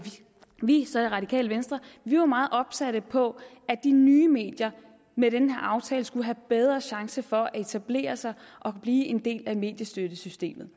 vi er radikale venstre var meget opsatte på at de nye medier med den her aftale skulle have bedre chance for at etablere sig og blive en del af mediestøttesystemet